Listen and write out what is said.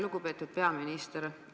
Lugupeetud peaminister!